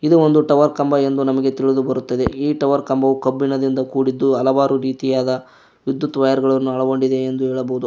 ಇದು ಒಂದು ಟವರ್ ಕಂಬ ಎಂದು ನಮಗೆ ತಿಳಿದು ಬರುತ್ತದೆ ಈ ಟವರ್ ಕಂಬವು ಕಬ್ಬಿಣದಿಂದ ಕೂಡಿದ್ದು ಹಲವಾರು ರೀತಿಯಾದ ವಿದ್ಯುತ್ ವೈರ್ ಗಳನ್ನು ಒಳಗೊಂಡಿದೆ ಎಂದು ಹೇಳಬಹುದು.